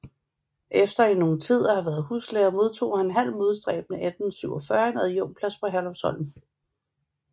Efter i nogen tid at have været huslærer modtog han halv modstræbende 1847 en adjunktplads på Herlufsholm